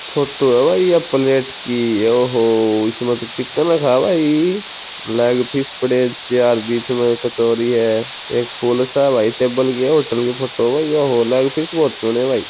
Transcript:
Photo है भाई यह प्लैट की ओहो इसमें तो चिकन था भाई लेग पीस पड़े है चार बीच में कचोरी है एक फूल सा है भाई टेबल के होटल की फोटो है ओहो लेग पीस बहुत सोणे है भाई।